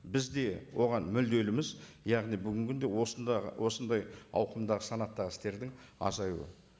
біз де оған мүдделіміз яғни бүгінгі күнде осындағы осындай ауқымдағы санаттағы істердің азаюы